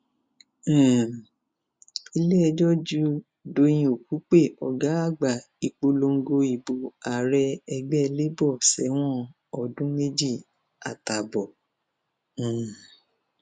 um iléẹjọ jù dọyìn òkùpẹ ọgá àgbà ìpolongo ìbò ààrẹ ẹgbẹ labour sẹwọn ọdún méjì àtààbọ um